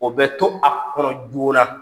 O bɛ to a kɔnɔ joona